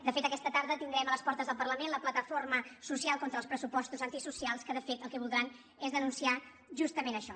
de fet aquesta tarda tindrem a les portes del parlament la plataforma social contra els pressupostos antisocials que de fet el que voldran és denunciar justament això